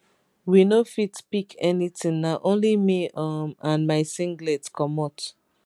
we no fit pick anything na only me um and my singlet comot um